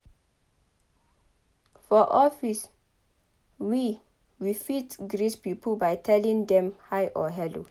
For office we we fit greet pipo by telling dem hi or hello